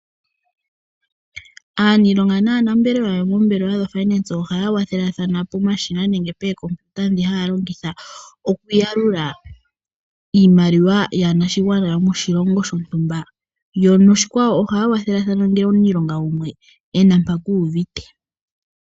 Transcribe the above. Aaniilonga naanambelewa yomoombelewa dhiimaliwa ohaya kwathelathana pomashina nenge pookompiuta dhi haya longitha, okuyalula iimaliwa yaanashigwana yo moshilongo shontumba. Yo noshikwawo ohaya kwathelathana ngele omuniilonga gumwe ena mpa ku uvite.